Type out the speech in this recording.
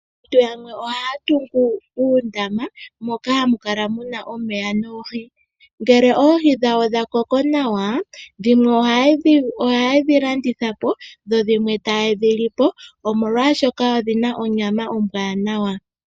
Aantu yamwe ohaya tungu uundama moka hamu kala muna omeya noohi. Ngele Oohi dhawo dha koko nawa dhimwe oha yedhi landitha po, dhimwe ta yedhi lipo omolwashoka odhina onyama ombwaanawa.